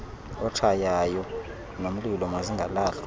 otshaywayo nomlilo mazingalahlwa